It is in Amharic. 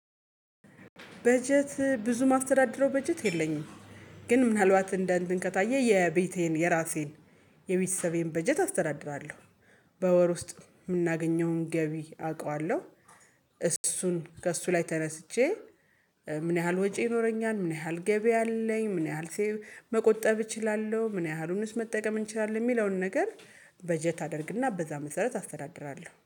በጀት ብዙ ማስተዳድረው በጀት የለኝም ግን ምን አልባት እንደአንትን ከታዬ የቤቴን የራሴን የቤተሰቤን በጀት አስተዳድራለሁ። በወር ውስጥ የምናገኘውን ገቢ አውቃለሁ፣ እሱን ከእሱ ላይ ተነስቼ ምን ያህል ወጪ ይኖረኛል፣ ምን ያህል ገቢ አለኝ፣ ምን ያህል መቆጠብ እችላለሁ፣ ምን ያህሉንስ መጠቀም እንችላለን፣ የሚለውን ነገር በጀት አደርግና በዛ መሰረት አስተዳድራለሁ።